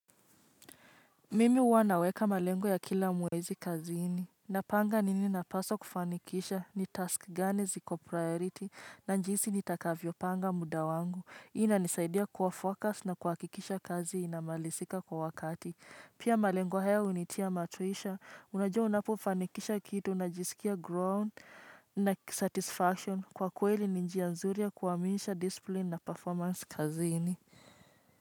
Mimi uwa naweka malengo ya kila mwezi kazi ini. Napanga nini napaswa kufanikisha ni task gani ziko priority na njiisi nitakavyo panga muda wangu. Hii nisaidia kuwa focus na kuwakikisha kazi inamalisika kwa wakati. Pia malengu haya unitia matuisha, unajua unapo fanikisha kitu, unajisikia ground na satisfaction kwa kweli ninjia nzuri ya kuwaminisha discipline na performance kazi ini.